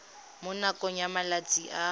mo nakong ya malatsi a